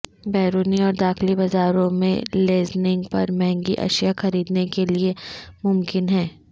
بیرونی اور داخلی بازاروں میں لیزنگ پر مہنگی اشیاء خریدنے کے لئے ممکن ہے